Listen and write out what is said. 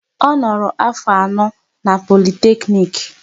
Ọ noro afọ anọ n'Politeknik